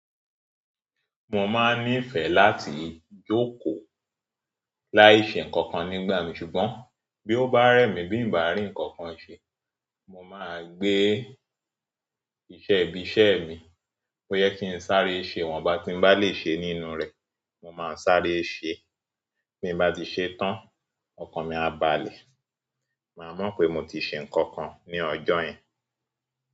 Mo máa ń nífẹ̀ẹ́ láti jókòó láìṣe ǹkan kan nígbà mi ṣùgbọ́n bí ó bá rẹ́ mí bí n bá rí ǹkan kan ṣe, mo máa gbé iṣẹ́ ibi iṣẹ́ mi. Bo yẹ kí n sáré ṣe iwọ́n bá ti n bá lẹ́ ṣe nínú rẹ̀. Mo maa sáré se. Bí n bá ti ṣe tán, ọkàn mi á balẹ̀. Máa mo pé mo ti ṣe ǹkan kan ní ọjọ́ yẹn.